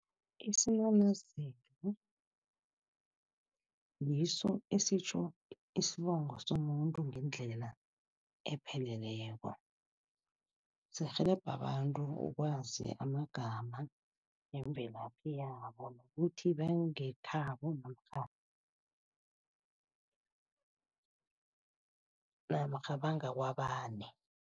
Isinanazelo ngiso esitjho isibongo somuntu ngendlela epheleleko. Sirhelebha abantu ukwazi amagama nemvelaphi yabo nokuthi bangekhabo namkha namkha bangakwabani.